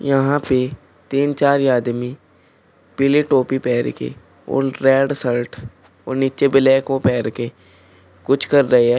यहां पे तीन चार आदमी पीले टोपी पहन के और रेड शर्ट और नीचे ब्लैक ओ पहन के कुछ कर रहे हैं।